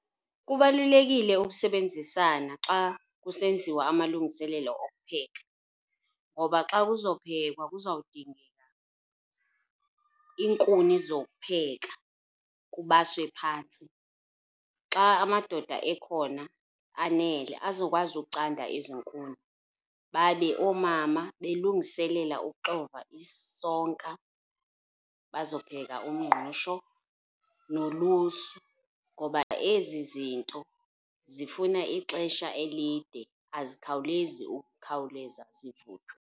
Kubalulekile ukusebenzisana xa kusenziwa amalungiselelo okupheka ngoba xa kuzophekwa kuzawudingeka iinkuni zokupheka, kubaswe phantsi. Xa amadoda ekhona anele, azokwazi ukucanda ezi nkuni, babe oomama belungiselela ukuxova isonka, bazopheka umngqusho nolusu. Ngoba ezi zinto zifuna ixesha elide, azikhawulezi ukukhawuleza zivuthwe.